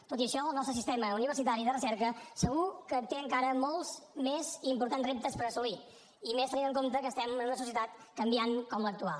tot i això el nostre sistema universitari de recerca segur que té encara molts més i importants reptes per assolir i més tenint en compte que estem en una societat canviant com l’actual